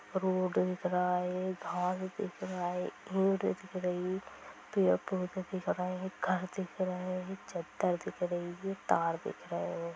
Road दिख रहा है घास दिख रहा है रोड दिख रही पेड़ पौधे दिख रहे है| घर दिख रहा है छत्ता दिख रही है तार दिख रहे है।